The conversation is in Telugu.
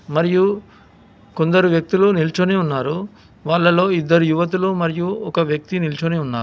మరియు కొందరు వ్యక్తులు నిలుచునే ఉన్నారు వాళ్లలో ఇద్దరు యువకులు మరియు ఒక వ్యక్తి నిల్చుని ఉన్నారు.